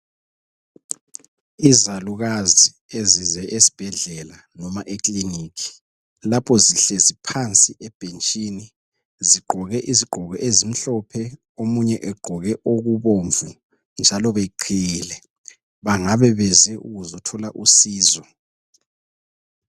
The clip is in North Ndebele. Izalukazi ezize esibhedlela noma ekilinika lapho zihlezi phansi ebhentshini zigqoke izigqoko ezimhlophe omunye egqoke okubomvu njalo beqhiyile bangabe beze ukuzothola usizo.